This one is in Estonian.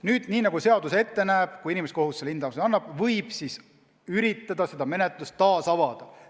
Nüüd, nii nagu seadus ette näeb, kui inimõiguste kohus selle hinnangu annab, siis võib üritada menetluse taas avada.